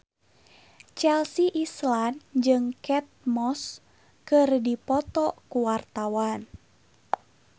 Chelsea Islan jeung Kate Moss keur dipoto ku wartawan